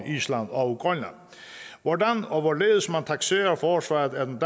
island og grønland hvordan og hvorledes man takserer forsvaret af den